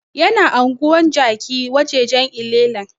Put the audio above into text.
Yana anguwar jaki wajajan llela